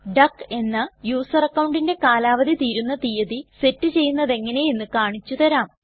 duck എന്ന user അക്കൌണ്ടിന്റെ കാലാവധി തീരുന്ന തീയതി സെറ്റ് ചെയ്യുന്നതെങ്ങനെ എന്ന് കാണിച്ചു തരാം